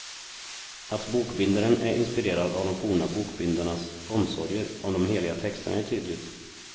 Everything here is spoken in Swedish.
Att bokbindaren är inspirerad av de forna bokbindarnas omsorger om de heliga texterna är tydligt.